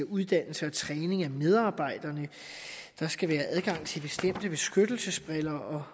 uddannelse og træning af medarbejderne at der skal være adgang til bestemte beskyttelsesbriller og